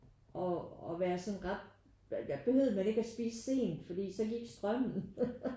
Og at være sådan ret der behøvede man ikke at spise sent fordi så gik strømmen